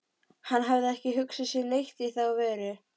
Hann hafði ekki hugsað sér neitt í þá veru.